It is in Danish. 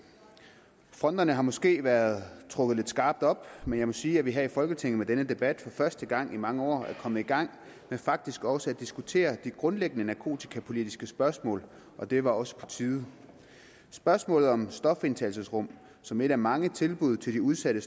fronterne har måske været trukket lidt skarpt op men jeg må sige at vi her i folketinget med denne debat for første gang i mange år er kommet i gang med faktisk også at diskutere de grundlæggende narkotikapolitiske spørgsmål og det var også på tide spørgsmålet om stofindtagelsesrum som et af mange tilbud til de udsatte